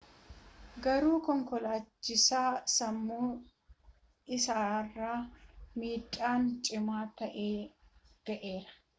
garuu ,konkolaachisicha sammuu isaarra miidhaan cimaa ta’e ga’era